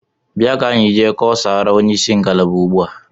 Bịa ka anyị jee kọsara onyeisi ngalaba ugbu a!